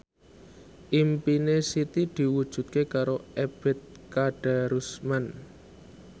impine Siti diwujudke karo Ebet Kadarusman